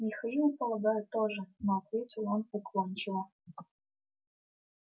михаил полагаю тоже но ответил он уклончиво